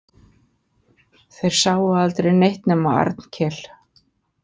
Þeir sáu aldrei neitt nema Arnkel.